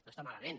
no està malament